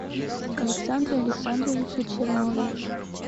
александре александровиче чернове